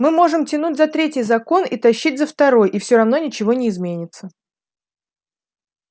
мы можем тянуть за третий закон и тащить за второй и всё равно ничего не изменится